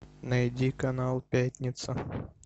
найди канал пятница